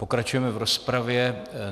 Pokračujeme v rozpravě.